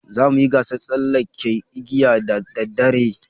Za mu yi gasar tsallaken igiya da daddare.